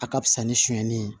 A ka fisa ni sɛni ye